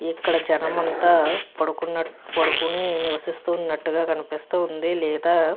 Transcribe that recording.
ఇక్కడ జనము అంతా పడుకున్న పడుకొని నివసిస్తూ ఉన్నట్టుగా కనిపిస్తుంది. లేదా --